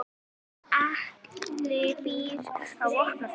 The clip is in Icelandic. Atli býr á Vopnafirði.